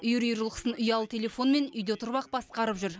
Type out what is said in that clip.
үйір үйір жылқысын ұялы телефонымен үйде отырып ақ басқарып жүр